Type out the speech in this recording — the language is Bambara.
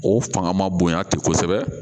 O fanga man bonya ten kosɛbɛ